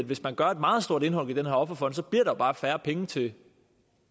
hvis man gør et meget stort indhug i den her offerfond bliver der bare færre penge til